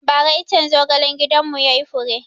Ba ra iccen zogalen gidan mu yayi hure